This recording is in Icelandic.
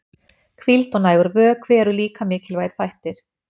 Hvíld og nægur vökvi eru líka mikilvægir þættir.